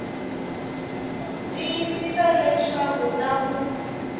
tiyisisa leswaku ku na ku